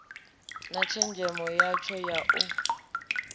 na tshenzhemo yatsho na u